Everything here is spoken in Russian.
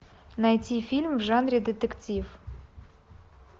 найти фильм в жанре детектив